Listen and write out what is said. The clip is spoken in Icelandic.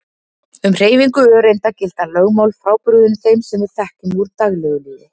Um hreyfingu öreinda gilda lögmál frábrugðin þeim sem við þekkjum úr daglegu lífi.